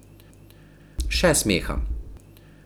Še smeha.